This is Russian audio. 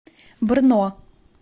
брно